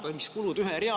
Teie aeg!